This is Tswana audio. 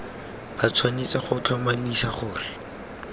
ba tshwanetse go tlhomamisa gore